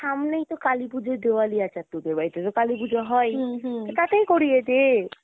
সামনেই কালী পুজো দেওয়ালী আছে আর তোদের বাড়িতে কালীপুজো হয়ই তো তাতেই করিয়ে দে ।